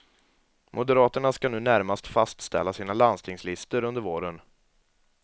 Moderaterna skall nu närmast fastställa sina landstingslistor under våren.